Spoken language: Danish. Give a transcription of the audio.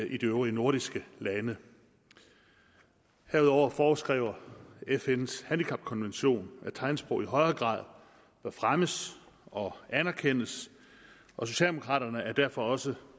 i de øvrige nordiske lande herudover foreskriver fns handicapkonvention at tegnsprog i højere grad bør fremmes og anerkendes og socialdemokraterne er derfor også